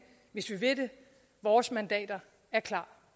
hvis vi vil det vores mandater er klar